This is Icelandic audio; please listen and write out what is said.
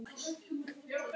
Ég hefði átt að læsa.